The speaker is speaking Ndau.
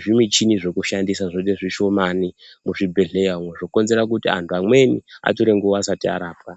zvimuchini zvokushandisa zvoite zvishomani muzvibhedhlera umu. Zvokonzera kuti antu amweni atore nguva asati arapwa.